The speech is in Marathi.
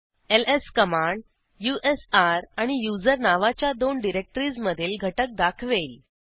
एलएस कमांड usr आणि user नावाच्या दोन डिरेक्टरीज मधील घटक दाखवेल